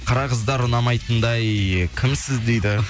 қара қыздар ұнамайтындай кімсіз дейді